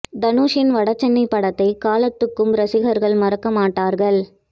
தனுஷின் வட சென்னை படத்தை காலத்துக்கும் ரசிகர்கள் மறக்க மாட்டார்கள்